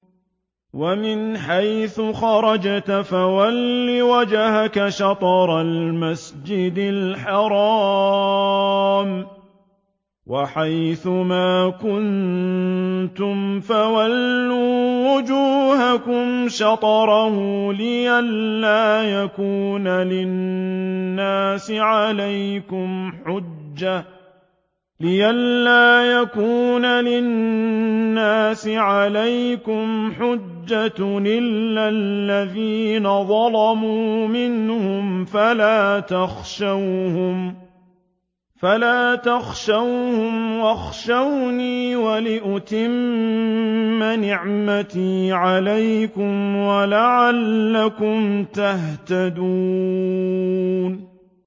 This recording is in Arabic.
وَمِنْ حَيْثُ خَرَجْتَ فَوَلِّ وَجْهَكَ شَطْرَ الْمَسْجِدِ الْحَرَامِ ۚ وَحَيْثُ مَا كُنتُمْ فَوَلُّوا وُجُوهَكُمْ شَطْرَهُ لِئَلَّا يَكُونَ لِلنَّاسِ عَلَيْكُمْ حُجَّةٌ إِلَّا الَّذِينَ ظَلَمُوا مِنْهُمْ فَلَا تَخْشَوْهُمْ وَاخْشَوْنِي وَلِأُتِمَّ نِعْمَتِي عَلَيْكُمْ وَلَعَلَّكُمْ تَهْتَدُونَ